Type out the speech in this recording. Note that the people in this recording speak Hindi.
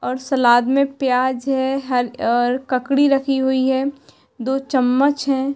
और सलाद में प्याज है। हर और ककड़ी रखी हुई है। दो चम्मच हैं।